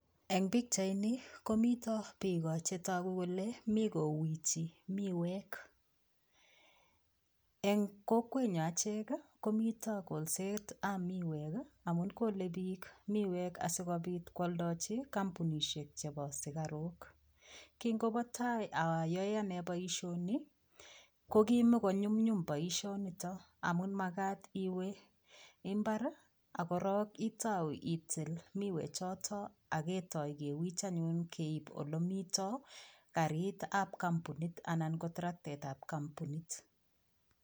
Eng pichaini komito biik che tagu kole mi kowichi miwek. Eng kokwenyo achek komito kolsetab miwek agokole biik miwek asigopit kwaldachi kampunisiek chebo sikaruk. Kingobo tai ayoe anne boisioni ko kimokonyumnyum boisionito amun magat iwe imbar ak korok itau itil miwe choto ak ketoi kewich anyun keip olemito karitab kampunit anan traktetab kampunit.